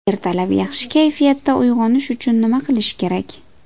Ertalab yaxshi kayfiyatda uyg‘onish uchun nima qilish kerak?